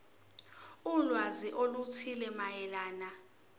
ulwazi oluthile mayelana